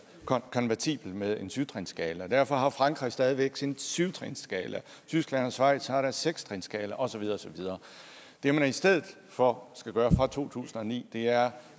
konvertible med en syv trinsskala og derfor har frankrig stadig væk sin syv trinsskala og tyskland og schweiz har deres seks trinsskala og så videre og så videre det man i stedet for skal gøre fra to tusind og ni er